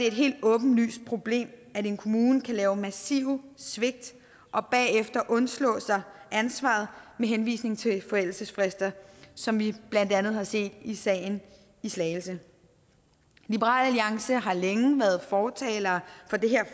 et helt åbenlyst problem at en kommune kan lave massive svigt og bagefter undslå sig ansvaret med henvisning til forældelsesfrister som vi blandt andet har set i sagen i slagelse liberal alliance har længe været fortalere